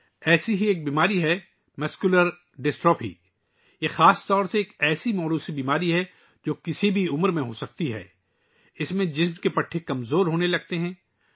ایسی ہی ایک بیماری ہے مسکولر ڈسٹرافی ! یہ بنیادی طور پر ایک جینیاتی بیماری ہے ، جو کسی بھی عمر میں ہو سکتی ہے ، جس میں جسم کے پٹھے کمزور ہونا شروع ہو جاتے ہیں